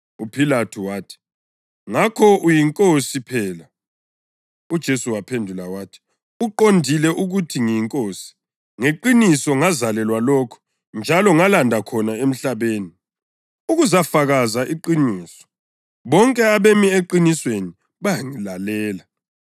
UPhilathu wathi, “Ngakho uyinkosi phela?” UJesu waphendula wathi, “Uqondile ukuthi ngiyinkosi. Ngeqiniso ngazalelwa lokho njalo ngalanda khona emhlabeni, ukuzafakaza iqiniso. Bonke abemi eqinisweni bayangilalela.”